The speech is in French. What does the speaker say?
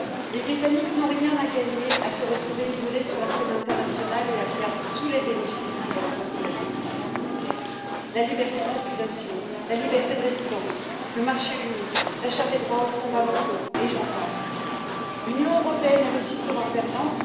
Les Britanniques n'ont rien à gagner à se retrouver isolés sur la scène internationale et à perdre tous les bénéfices que leur apportait l'appartenance à l'Union européenne la liberté de circulation, la liberté de résidence, le marché unique, la charte des droits fondamentaux, et j'en passe. L'Union européenne sera elle aussi perdante.